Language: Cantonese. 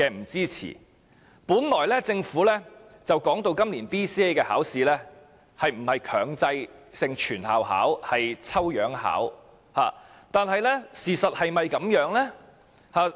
政府本來說今年的 BCA 不是強制全校學生應考而是抽樣應考，但事實是否這樣呢？